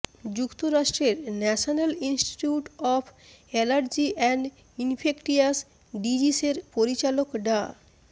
যুক্তরাষ্ট্রের national institute of allergy and infectious ডিজিসের পরিচালক ডা